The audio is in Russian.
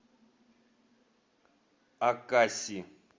акаси